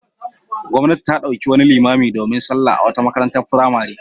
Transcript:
Gwamnati ta ɗauki wani limami domin sallah a wata makarantar firamare.